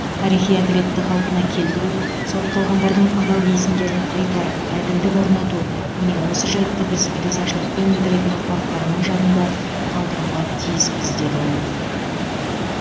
тарихи әділетті қалпына келтіру сотталғандардың адал есімдерін қайтарып әділдік орнату міне осы жайтты біз ризашылықпен білдіретін ұрпақтарының жадында қалдыруға тиіспіз деді ол